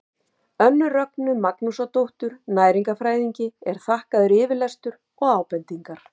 önnu rögnu magnúsardóttur næringarfræðingi er þakkaður yfirlestur og ábendingar